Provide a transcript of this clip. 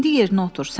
İndi yerinə otur.